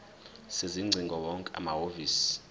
sezingcingo wonke amahhovisi